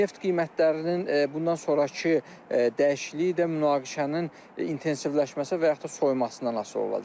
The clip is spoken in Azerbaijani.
Neft qiymətlərinin bundan sonrakı dəyişikliyi də münaqişənin intensivləşməsi və yaxud da soyumasından asılı olacaq.